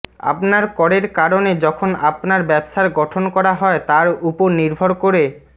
আপনার করের কারণে যখন আপনার ব্যবসার গঠন করা হয় তার উপর নির্ভর করে